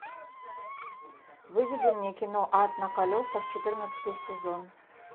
выведи мне кино ад на колесах четырнадцатый сезон